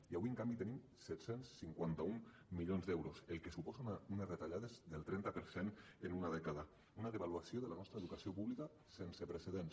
i avui en canvi tenim set cents i cinquanta un milions d’euros la qual cosa suposa unes retallades del trenta per cent en una dècada una devaluació de la nostra educació pública sense precedents